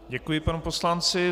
Děkuji panu poslanci.